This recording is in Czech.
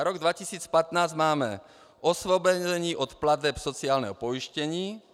Na rok 2015 máme osvobození od plateb sociálního pojištění.